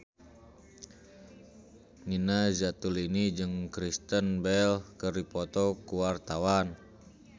Nina Zatulini jeung Kristen Bell keur dipoto ku wartawan